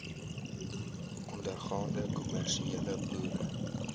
ondergaande kommersiële boere